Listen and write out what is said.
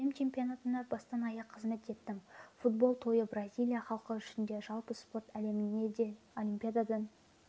әлем чемпионатында бастан-аяқ қызмет еттім футболтойы бразилия халқы үшін де жалпы спорт әлемінде де олимпиададан